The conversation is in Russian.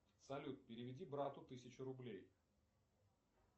салют переведи брату тысячу рублей